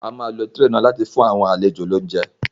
A máa lo tírè náà láti fi fún àwọn àlejò ní óuńjẹ